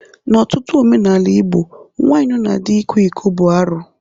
N'ọtụtụ omenala Igbo nwaanyị nọ na dị ịkwa iko bụ arụ.